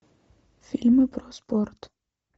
фильмы про спорт